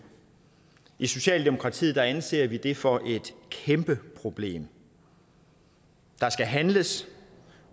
i socialdemokratiet anser vi det for et kæmpe problem der skal handles